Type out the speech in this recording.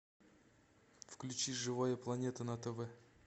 включи живая планета на тв